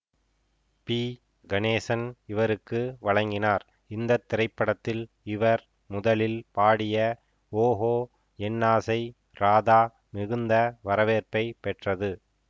B Ganesan இவருக்கு வழங்கினார் இந்தத்திரைப்படத்தில் இவர் முதலில் பாடிய ஓகோ என்னாசை ராதா மிகுந்த வரவேற்பை பெற்றது